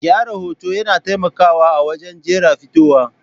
Gyara hoto yana taimakawa a wajen jera fitowa.